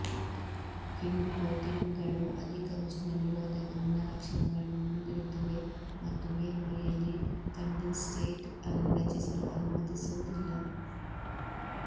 ಹಿಂಡು ಕೋಟಿಂಗ್ಗಳು ಅಧಿಕ ಉಷ್ಣ ನಿರೋಧಕ ಗುಣಲಕ್ಷಣಗಳನ್ನು ಹೊಂದಿರುತ್ತವೆ ಮತ್ತು ಮೇಲ್ಮೈಯಲ್ಲಿ ಕಂಡೆನ್ಸೇಟ್ ಅನ್ನು ರಚಿಸಲು ಅನುಮತಿಸುವುದಿಲ್ಲ